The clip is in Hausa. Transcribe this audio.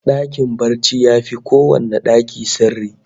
Dakin barci yafi kowanne daki sirri